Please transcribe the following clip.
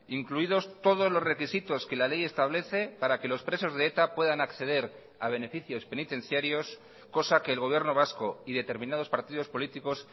incluidos todos los requisitos que la ley establece para que los presos de eta puedan acceder a beneficios penitenciarios cosa que el gobierno vasco y determinados partidos políticos